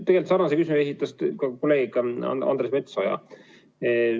Tegelikult samasuguse küsimuse esitas ka kolleeg Andres Metsoja.